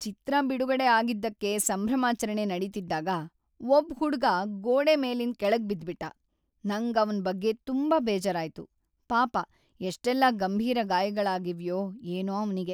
ಚಿತ್ರ ಬಿಡುಗಡೆ ಆಗಿದ್ದಕ್ಕೆ ಸಂಭ್ರಮಾಚರಣೆ ನಡೀತಿದ್ದಾಗ ಒಬ್ಬ್‌ ಹುಡ್ಗ ಗೋಡೆ ಮೇಲಿಂದ ಕೆಳಗ್ ಬಿದ್ಬಿಟ್ಟ. ನಂಗ್‌ ಅವ್ನ್ ಬಗ್ಗೆ ತುಂಬಾ ಬೇಜಾರಾಯ್ತು.‌ ಪಾಪ ಎಷ್ಟೆಲ್ಲ ಗಂಭೀರ ಗಾಯಗಳಾಗಿವ್ಯೋ ಏನೋ ಅವ್ನಿಗೆ.